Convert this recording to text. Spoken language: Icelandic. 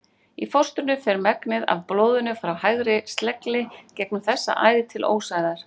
Í fóstrinu fer megnið af blóðinu frá hægri slegli gegnum þessa æð til ósæðar.